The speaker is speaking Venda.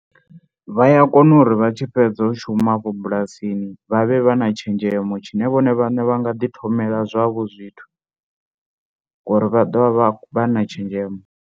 Vha ya kona uri vha tshi fhedza u shuma afho bulasini vha vhe vha na tshenzhemo tshine vhone vhaṋe vha nga ḓithomela zwavho zwithu ngori vha ḓovha vha vha na tshenzhemo.